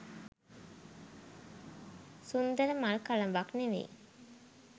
සුන්දර මල් කළඹක් නෙවෙයි.